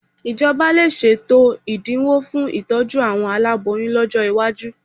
Ìjọba lè ṣètò ẹ̀dinwó fún ìtójú àwọn aláboyún lọ́jọ́ iwájú